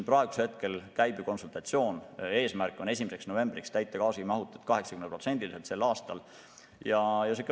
Praegu käib konsultatsioon, eesmärk on 1. novembriks täita gaasimahutid sel aastal 80% ulatuses.